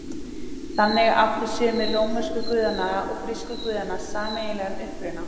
Þannig áttu sumir rómversku guðanna og grísku guðanna sameiginlegan uppruna.